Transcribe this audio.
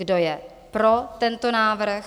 Kdo je pro tento návrh?